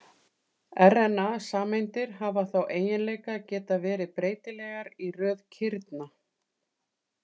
RNA-sameindir hafa þá eiginleika að geta verið breytilegar í röð kirna.